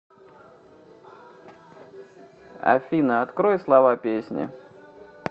афина открой слова песни